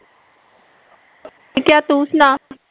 ਠੀਕ ਐ ਤੂੰ ਸੁਣਾ